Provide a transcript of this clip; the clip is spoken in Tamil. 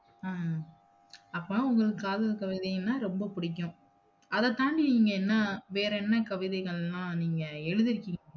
உம் அப்ப உங்களுக்கு காதல் கவிதைகள்னா ரொம்ப புடிக்கும் அததாண்டி நீங்க என்ன வேறென்ன கவிதைகள்னா நீங்க எழுதிருகீங்க?